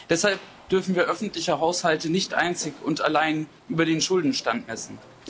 Deshalb dürfen wir öffentliche Haushalte nicht einzig und allein über den Schuldenstand messen.